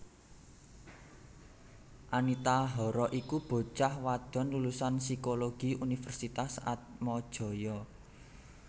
Anita Hara iku bocah wadon lulusan Psikologi Universitas Atmajaya